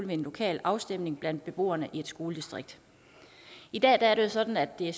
ved en lokal afstemning blandt beboerne i et skoledistrikt i dag er det jo sådan at det